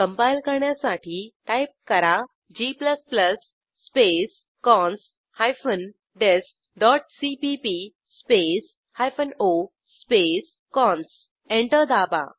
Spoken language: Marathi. कंपाईल करण्यासाठी टाईप करा g space cons hyphen dest dot CPP space hyphen O space cons enter दाबा